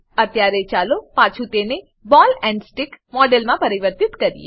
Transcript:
અત્યારે ચાલો પાછું તેને બૉલ એન્ડ સ્ટિક મોડેલમાં પરિવર્તિત કરીએ